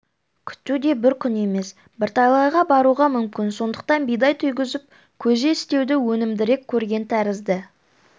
күту де бір күн емес бірталайға баруға мүмкін сондықтан бидай түйгізіп көже істеуді өнімдірек көрген тәрізді